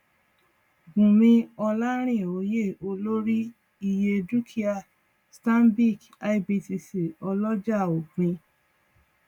bùnmí olarinoyeolórí iye dúkìá stanbic ibtc ọlọjà òpin